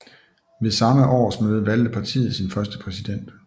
Ved samme årsmøde valgte partiet sin første præsident